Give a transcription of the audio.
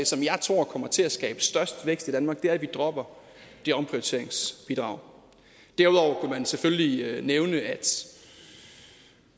som jeg tror kommer til at skabe størst vækst i danmark det at vi dropper det omprioriteringsbidrag derudover kunne man selvfølgelig nævne at